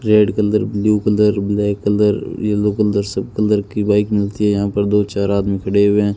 red colour blue colour black colour yellow colour सब colour की bike मिलती है यहां पर दो चार आदमी खड़े हुए --